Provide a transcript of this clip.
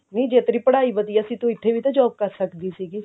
ਨਹੀ ਜੇ ਤੇਰੀ ਪੜ੍ਹਾਈ ਵਧੀਆ ਸੀਗੀ ਤੂੰ ਇੱਥੇ ਵੀ ਤਾਂ job ਕਰ ਸਕਦੀ ਸੀਗੀ